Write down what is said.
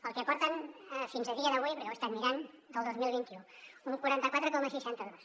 el que portem fins a dia d’avui perquè ho he estat mirant del dos mil vint u un quaranta quatre coma seixanta dos